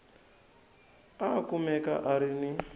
a kumeka a ri ni